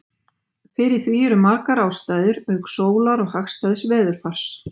fyrir því eru margar ástæður auk sólar og hagstæðs veðurfars